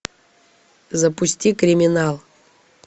запусти криминал